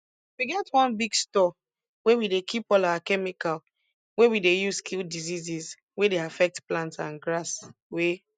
we get one big store wey we dey keep all our chemical wey we dey use kill diseases wey dey affect plants and grass wey